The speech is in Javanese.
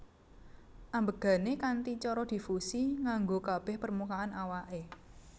Ambegané kanthi cara difusi nganggo kabeh permukaan awake